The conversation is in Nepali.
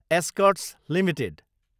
Escorts Ltd